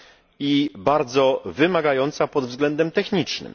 i bardzo wymagająca pod względem technicznym.